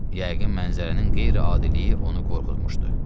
Yəqin mənzərənin qeyri-adiliyi onu qorxutmuşdu.